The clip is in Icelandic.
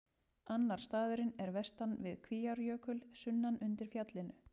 Annar staðurinn er vestan við Kvíárjökul, sunnan undir fjallinu.